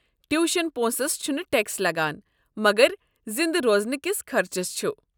Tuition پونسس چھُنہٕ tax لگان، مگر زِندٕ روزنہٕ كِس خرچس چھُ۔